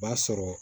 O b'a sɔrɔ